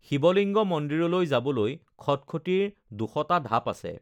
শিৱ লিংগ মন্দিৰলৈ যাবলৈ খটখটীৰ ২০০টা ঢাপ আছে৷